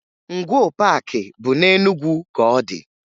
Ngwoo Paakị bụ na Enugwu ka ọ dị